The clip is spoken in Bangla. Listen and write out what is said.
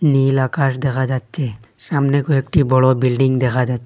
নীল আকাশ দেখা যাচ্ছে সামনে কয়েকটি বড় বিল্ডিং দেখা যা--